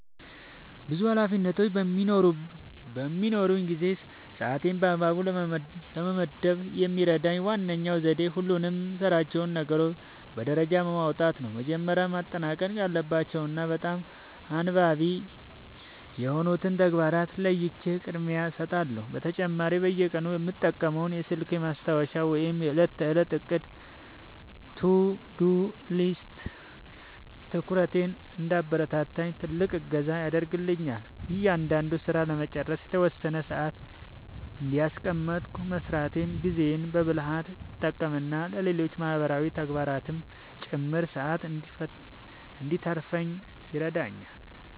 ብዙ ኃላፊነቶች በሚኖሩኝ ጊዜ ሰዓቴን በአግባቡ ለመመደብ የሚረዳኝ ዋነኛው ዘዴ ሁሉንም የምሠራቸውን ነገሮች በደረጃ ማውጣት ነው። መጀመሪያ ማጠናቀቅ ያለባቸውንና በጣም አንገብጋቢ የሆኑትን ተግባራት ለይቼ ቅድሚያ እሰጣቸዋለሁ። በተጨማሪም በየቀኑ የምጠቀመው የስልኬ ማስታወሻ ወይም የዕለት ተዕለት ዕቅድ (To-Do List) ትኩረቴ እንዳይበታተን ትልቅ እገዛ ያደርግልኛል። እያንዳንዱን ሥራ ለመጨረስ የተወሰነ ሰዓት እያስቀመጥኩ መሥራቴ ጊዜዬን በብልሃት እንድጠቀምና ለሌሎች ማህበራዊ ተግባራትም ጭምር ሰዓት እንድተርፈኝ ይረዳኛል።